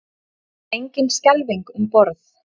Engin skelfing um borð